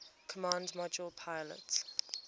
command module pilot